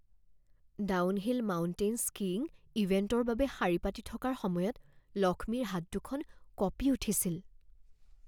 downhill mountain skiing ইভেণ্টৰ বাবে শাৰী পাতি থকাৰ সময়ত লক্ষ্মীৰ হাত দুখন কঁপি উঠিছিল